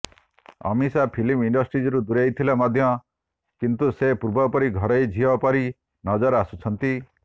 Amisha film ଇଣ୍ଡଷ୍ଟ୍ରିରୁ ଦୂରେଇଥିଲେ ମଧ୍ୟ କିନ୍ତୁ ସେ ପୂର୍ବପରି ଘରୋଇ ଝିଅ ପରି ନଜର ଆସୁଛନ୍ତି